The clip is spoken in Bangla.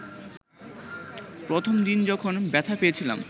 প্রথম দিন যখন ব্যথা পেয়েছিলাম